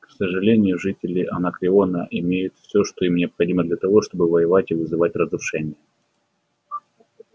к сожалению жители анакреона имеют все что им необходимо для того чтобы воевать и вызывать разрушения